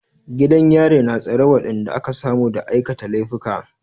Gidan yari na tsare waɗanda aka samu da aikata laifuka.